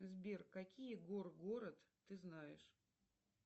сбер какие гор город ты знаешь